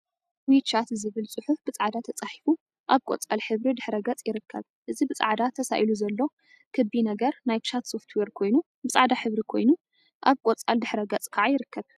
ዊ ቻት ዝብል ፅሑፍ ብፃዕዳ ተፃሒፉ አብ ቆፃል ሕብሪ ድሕረ ገፅ ይርከብ፡፡ እዚ ብፃዕዳ ተሳኢሉ ዘሎ ክቢ ነገር ናይ ቻት ሶፍትዌር ኮይኑ፤ ብፃዕዳ ሕብሪ ኮይኑ አብ ቆፃል ድሕረ ገፅ ከዓ ይርከብ፡፡